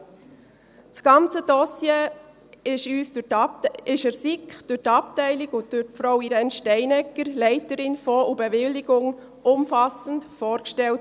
Das ganze Dossier wurde der SiK durch die Abteilung und Frau Irène Steinegger, Leiterin Fonds und Bewilligung, umfassend vorgestellt.